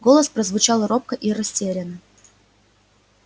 голос прозвучал робко и растерянно